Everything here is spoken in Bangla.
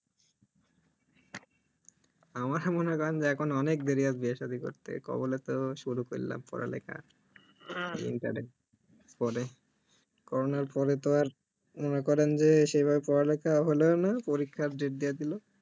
আমাকে মনে করেন যে এখন অনেক দেরি বিয়ে সাধি করতে কবলে তো শুরু করলাম পড়ালেখা দিনাকালেক পরে corona এর পরে তো আর মনেকরেন যে সেভাবে পড়ালেখা হলও না পরীক্ষার date দিয়ে দিল